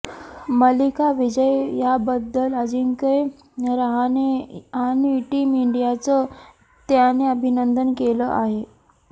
मालिका विजयाबद्दल अजिंक्य रहाणे आणि टीम इंडियाचं त्याने अभिनंदन केलं आहे